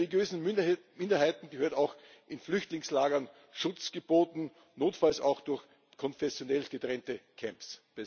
Religiösen Minderheiten gehört auch in Flüchtlingslagern Schutz geboten, notfalls auch durch konfessionell getrennte Camps.